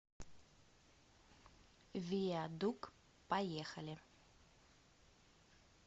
виадук поехали